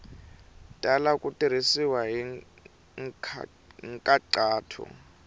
tala ku tirhisiwa hi nkhaqato